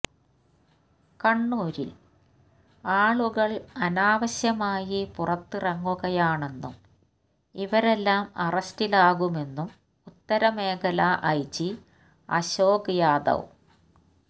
കണ്ണൂരിൽ ആളുകൾ അനാവശ്യമായി പുറത്തിറങ്ങുകയാണെന്നും ഇവരെല്ലാം അറസ്റ്റിലാകുമെന്നും ഉത്തരമേഖല ഐ ജി അശോക് യാദവ്